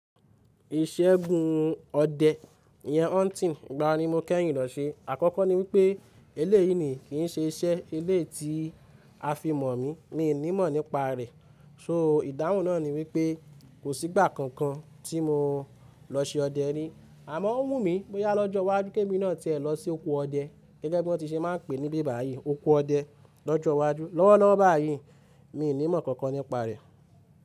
Iṣẹ́ gùn ọdẹ yẹn hunting, ìgbà wò ni mo kẹ́yìn lọ ṣe? Àkọ́kọ́ ni wípé eléyìí ni kì í ṣe iṣẹ́ elé ti a fi mọ̀ mí, mi ò ní mọ̀ nípa rẹ̀. So ìdáhùn náà ni wípé kò sí ìgbà kankan tí mo lọ ṣe ọdẹ rí. Àmọ́ ó wù mí bóyá lọ́jọ́ iwájú kí èmi náà tẹ́ ẹ lọ sí òko ọdẹ gẹ́gẹ́ bí wọ́n ti ṣe máa ń pè níbí báyìí, òko ọdẹ lọ́jọ́ iwájú. Lọ́wọ́lọ́wọ́ báyìí mi ò ní mọ̀ nǹkan kan nípa rẹ̀.